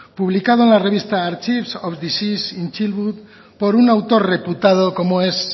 publicado en la revista archives of disease in childhood por un autor reputado como es